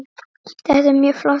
Þetta er mjög flott verk.